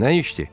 Nə işdi?